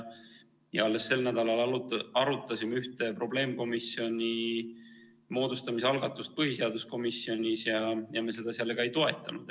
Alles sel nädalal arutasime ühte probleemkomisjoni moodustamise algatust põhiseaduskomisjonis ja me seda ka ei toetanud.